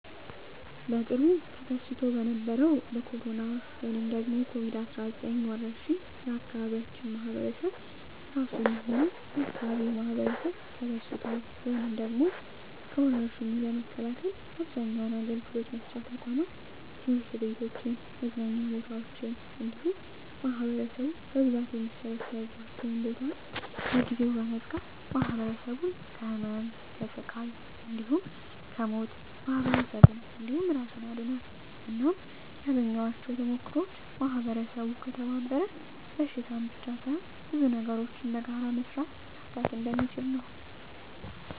በቅርቡ ተከስቶ በነበረዉ በኮሮና(ኮቪድ 19) ወረርሽ የአካባቢያችን ማህበረሰብ እራሱንም ሆነ የአካባቢውን ማህበረሰብ ከበሽታዉ (ከወርሽኙ) ለመከላከል አብዛኛዉን አገልግሎት መስጫ ተቋማት(ትምህርት ቤቶችን፣ መዝናኛ ቦታወችን እንዲሁም ማህበረሰቡ በብዛት የሚሰበሰብባቸዉን ቦታወች) ለጊዜዉ በመዝጋት ማህበረሰቡን ከህመም፣ ከስቃይ እንዲሁም ከሞት ማህበረሰብን እንዲሁም እራሱን አድኗል። እናም ያገኘኋቸዉ ተሞክሮወች ማህበረሰቡ ከተባበረ በሽታን ብቻ ሳይሆን ብዙ ነገሮችን በጋራ በመስራት መፍታት እንደሚችል ነዉ።